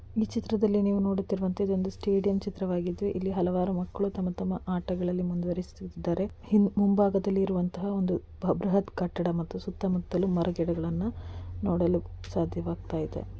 ಈ ಚಿತ್ರದಲ್ಲಿ ನೀವು ನೋಡಿತ್ತಿರುವಂತಹ ಒಂದು ಸ್ಟೇಡಿಯಂ ಚಿತ್ರವಾಗಿದ್ದು ಇಲ್ಲಿ ಹಲವಾರು ಮಕ್ಕಳು ತಮ್ಮ ತಮ್ಮ ಆಟದಲ್ಲಿ ಮುಂದುವರೆಯುಸುತ್ತಿದ್ದಾರೆ ಮುಂಭಾಗದಲ್ಲಿ ಇರುವಂತಹ ಒಂದು ಬೃಹತ್ ಕಟ್ಟಡ ಮತ್ತೆ ಸುತ್ತಮುತ್ತಲು ಮರ ಗಿಡಗಳನ್ನು ನೋಡಲು ಸಾಧ್ಯವಾಗ್ತಾ ಇದೆ .